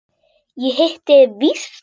Ég hitti þig víst!